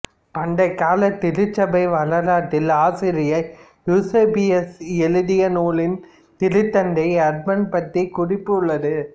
பண்டைக்கால திருச்சபை வரலாற்று ஆசிரியர் யூசேபியஸ் எழுதிய நூலில் திருத்தந்தை அர்பன் பற்றிய குறிப்பு உள்ளது